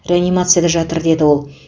реанимацияда жатыр деді ол